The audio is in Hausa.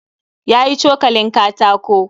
Ya yi cokalin katako